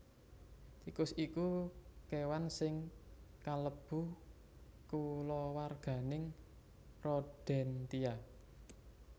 Tikus iku kéwan sing kalebu kulawarganing Rodentia